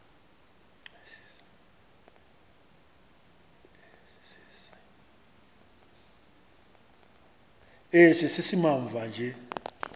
esi simamva nje